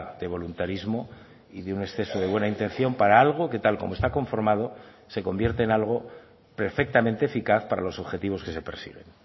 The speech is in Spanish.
de voluntarismo y de un exceso de buena intención para algo que tal como está conformado se convierte en algo perfectamente eficaz para los objetivos que se persiguen